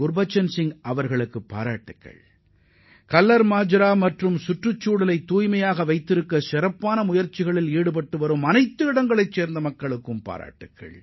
குர்பச்சன் சிங்கிற்கு எனது பாராட்டுகள் கல்லர்மஜ்ரா கிராம மக்களுக்கும் தத்தமது சுற்றுப்புறங்களில் மாசு ஏற்படாத வகையில் சிறப்பாக பராமரிக்கும் அனைவருக்கும் எனது பாராட்டுகள்